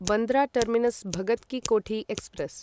Bandra terminus Bhagat ki Kothi express